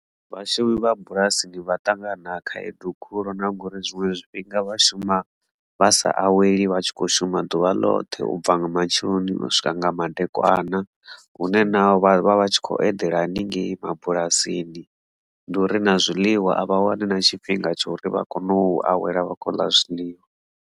Vhashumi vha bulasini vha ṱangana na khaedu khulu na ngori zwiṅwe zwifhinga vha shuma vha sa aweli vhatshi kho shuma ḓuvha ḽoṱhe ubva nga matsheloni u swika nga madekwana hune naho vha vha vha tshi khou eḓela haningei mabulasini ndi uri na zwiḽiwa a vha wane na tshifhinga tsha uri vha kone u awela vha khou ḽa zwiḽiwa.